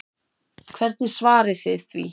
Hvernig svarið þið því?